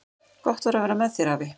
Gott var að vera með þér, afi.